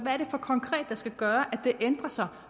er det så konkret der skal gøre at det ændrer sig